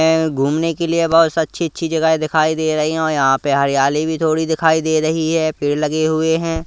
घूमने के लिए बहोत से अच्छी अच्छी जगह दिखाई दे रही है और यहां पे हरियाली भी थोड़ी दिखाई दे रही है पेड़ लगे हुए हैं।